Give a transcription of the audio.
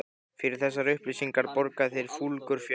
Fyrir þessar upplýsingar borga þeir fúlgur fjár.